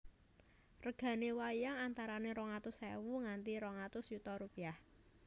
Reganè wayang antaranè rong atus èwu nganti rong atus yuta rupiyah